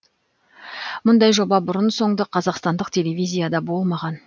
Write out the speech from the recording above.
мұндай жоба бұрын соңды қазақстандық телевизияда болмаған